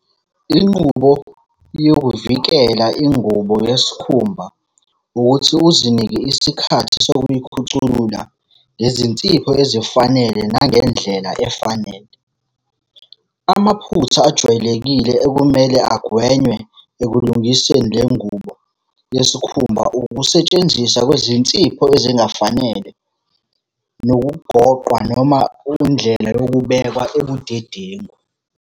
Inqubo yokuvikela ingubo yesikhumba, ukuthi uzinike isikhathi sokuyikhuculula ngezinsipho ezifanele nangendlela efanele. Amaphutha ajwayelekile ekumele agwenywe ekulungiseni le ngubo yesikhumba ukusetshenziswa kwezinsipho ezingafanele, nokugoqwa noma indlela yokubekwa ebudedengu.